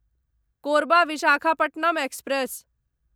Korba Visakhapatnam express